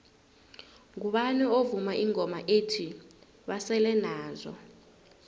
ngubani ovuma ingoma ethi basele nazo